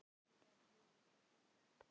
Hún hafði ekki svona láréttan húmor.